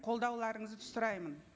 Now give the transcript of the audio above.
қолдауларыңызды сұраймын